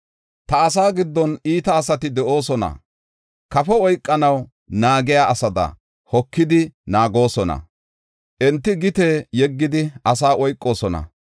“Ta asaa giddon iita asati de7oosona. Kafo oykanaw naagiya asada hokidi naagoosona. Enti gite yeggidi asaa oykoosona.